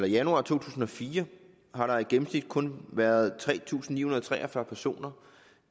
januar to tusind og fire har der i gennemsnit kun været tre tusind ni hundrede og tre og fyrre personer